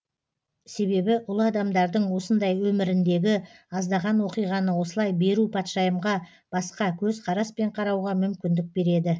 себебі ұлы адамдардың осындай өміріндегі аздаған оқиғаны осылай беру патшайымға басқа көз қараспен қарауға мүмкіндік береді